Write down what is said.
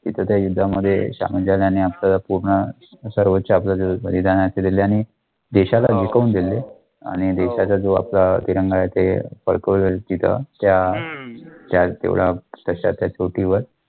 तिथं त्या युद्धामध्ये आपलं पूर्ण सर्वच बलिदान दिल्याने देशाला जिंकवून दिले आणि देशाचा जो आपला तिरंगा आहे ते फडकवला तिथं त्या त्या तेवढ्या तश्या त्या वर